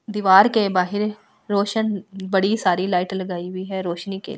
दीवार के बाहेर रोशन बड़ी सारी लाइट लगाई हुई है रोशनी के--